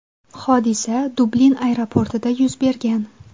Hodisa Dublin aeroportida yuz bergan.